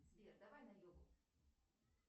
сбер давай на йогу